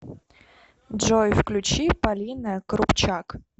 джой включи полина крупчак